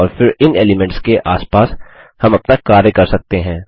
और फिर इन एलीमेंट्स के आसपास हम अपना कार्य कर सकते हैं